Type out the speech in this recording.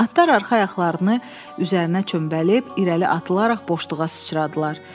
Atlar arxa ayaqlarını üzərinə çömbəlib irəli atılaraq boşluğa sıçradılar.